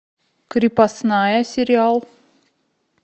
крепостная сериал